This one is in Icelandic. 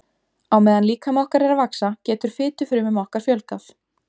Á meðan líkami okkar er að vaxa getur fitufrumum okkar fjölgað.